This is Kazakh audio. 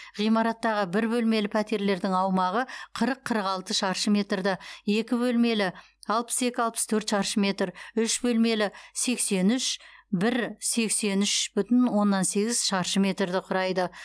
ғимараттағы бір бөлмелі пәтерлердің аумағы қырық қырық алты шаршы метрді екі бөлмелі алпыс екі алпыс төрт шаршы метр үш бөлмелі сексен үш бір сексен үш бүтін оннан сегіз шаршы метрді құрайды